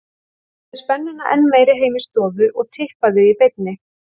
Gerðu spennuna enn meiri heima í stofu og tippaðu í beinni.